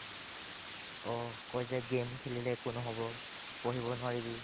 অ, কই যে game খেলিলে একো নহ'ব পঢ়িব নোৱাৰিবি